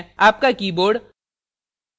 * आपका keyboard